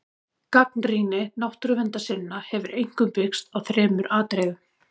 Gagnrýni náttúruverndarsinna hefur einkum byggst á þremur atriðum.